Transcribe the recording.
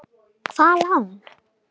Hvaða lán?